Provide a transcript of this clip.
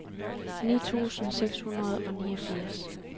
ni tusind seks hundrede og niogfirs